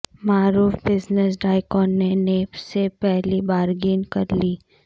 معروف business tycoon نے نیب سے پلی بارگین کرلی